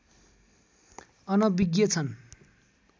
अनविज्ञ छन्